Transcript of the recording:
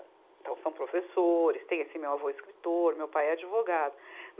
Então são professores, tem esse meu avô escritor, meu pai é advogado.